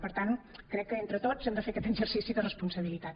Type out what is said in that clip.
per tant crec que entre tots hem de fer aquest exercici de responsabilitat